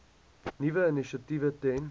nuwe initiatiewe ten